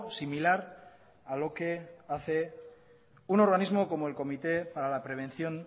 similar a lo que hace un organismo como el comité para la prevención